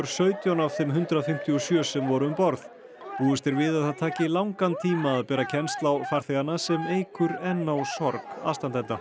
sautján af þeim hundrað fimmtíu og sjö sem voru um borð búist er við að það taki langan tíma að bera kennsl á farþegana sem eykur enn á sorg aðstandenda